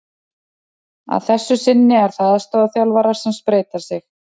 Að þessu sinni eru það aðstoðarþjálfarar sem spreyta sig.